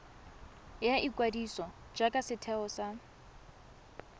ya ikwadiso jaaka setheo sa